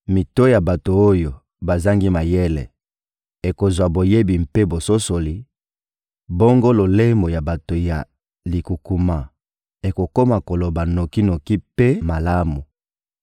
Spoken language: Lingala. Mito ya bato oyo bazangi mayele ekozwa boyebi mpe bososoli, bongo lolemo ya bato ya likukuma ekokoma koloba noki-noki mpe malamu.